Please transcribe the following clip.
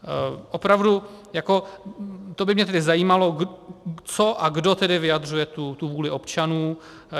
Opravdu jako, to by mě tedy zajímalo, co a kdo tedy vyjadřuje tu vůli občanů.